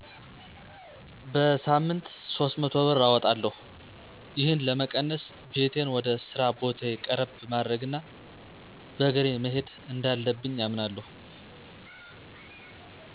በሳምንት 300 ብር አወጣለሁ። ይህን ለመቀነስ ቤቴን ወደ ስራ ቦታየ ቀረብ ማድረግ እና በእግሬ መሄድ እንዳለብኝ አምናለሁ።